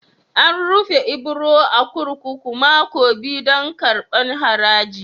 An rufe Ibro a'kurkuku mako biyu dan karban haraji.